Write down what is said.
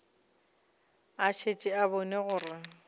a šetše a bone gore